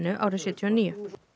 árið sjötíu og níu